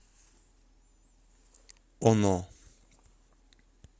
оно